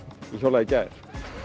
ég hjólaði í gær